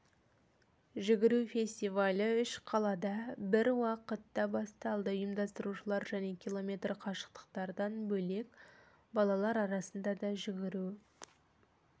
жүгіру фестивалі үш қалада бір уақытта басталды ұйымдастырушылар және км қашықтықтардан бөлек балалар арасында да жүгіру